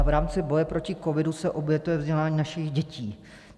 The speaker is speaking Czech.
A v rámci boje proti covidu se obětuje vzdělání našich dětí.